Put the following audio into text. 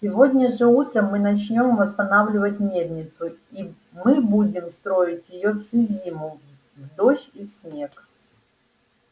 сегодня же утром мы начнём восстанавливать мельницу и мы будем строить её всю зиму в дождь и в снег